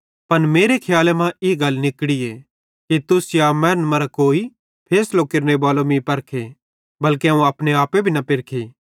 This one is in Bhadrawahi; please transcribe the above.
पन मेरे खियाले मां ई गल निकड़ीए कि तुस या मैनन् मरां कोई फैसलो केरनेबालो मीं परखे बल्के अवं अपने आपे न पेरखी